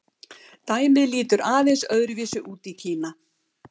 Dæmið lítur aðeins öðru vísi út í Kína.